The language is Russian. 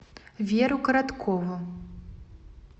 веру короткову